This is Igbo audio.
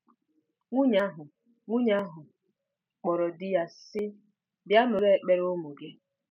Nwunye ahụ Nwunye ahụ kpọrọ di ya, sị, "Bịa nụrụ ekpere ụmụ gị."